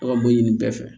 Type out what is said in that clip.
Aw ka mun ɲini bɛɛ fɛ